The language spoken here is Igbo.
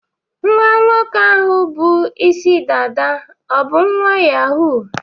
Nwa nwoke ahụ bụ Ịsị dada o bụ nwa Yahoo?